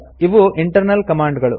ಇವು internal command ಗಳು